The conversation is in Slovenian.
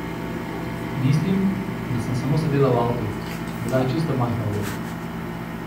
Mislim, da sem samo sedela v avtu, bila je čisto majhna vloga.